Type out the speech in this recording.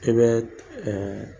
E bɛ